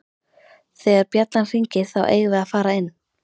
Þegar bjallan hringir þá eigum við að fara inn